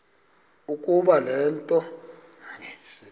ukuba le nto